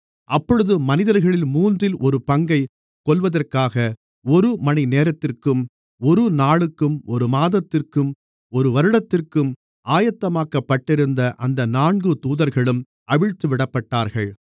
அப்பொழுது மனிதர்களில் மூன்றில் ஒரு பங்கைக் கொல்வதற்காக ஒருமணிநேரத்திற்கும் ஒரு நாளுக்கும் ஒரு மாதத்திற்கும் ஒரு வருடத்திற்கும் ஆயத்தமாக்கப்பட்டிருந்த அந்த நான்கு தூதர்களும் அவிழ்த்துவிடப்பட்டார்கள்